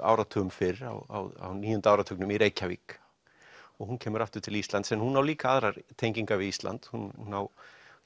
áratugum fyrr á níunda áratugnum í Reykjavík og hún kemur aftur til Íslands en hún á líka aðrar tengingar við Ísland hún